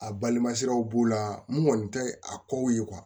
A balima siraw b'o la mun kɔni tɛ a kow ye